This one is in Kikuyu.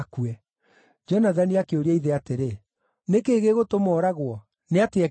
Jonathani akĩũria ithe atĩrĩ, “Nĩ kĩĩ gĩgũtũma ooragwo? Nĩ atĩa ekĩte?”